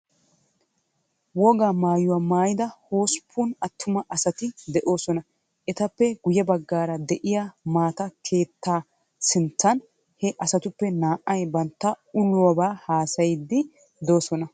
Wogaa mayuwa mayida hosppun attumay asati de'oosona. Etappe guyye baggaara de'iyaa maata keettaa sinttan he asatuppe naa"ay bantta ulobaa haasayiiddi doosona.